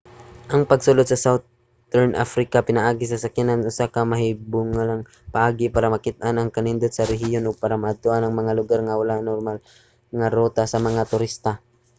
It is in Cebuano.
ang pagsulod sa southern africa pinaagi sa sakyanan usa ka makahibulongang paagi para makit-an ang kanindot sa rehiyon ug para maadtoan ang mga lugar nga wala sa normal nga ruta sa mga turista